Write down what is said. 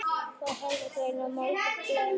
Frá þessu var greint í Morgunblaðinu í morgun.